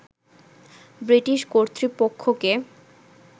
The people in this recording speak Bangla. ব্রিটিশ কর্তৃপক্ষকে